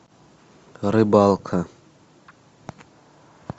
рыбалка